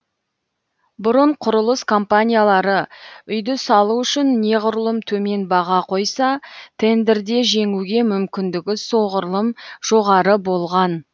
бұрын құрылыс компаниялары үйді салу үшін неғұрлым төмен баға қойса тендерде жеңуге мүмкіндігі соғұрлым жоғары болған